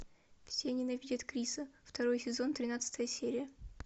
все ненавидят криса второй сезон тринадцатая серия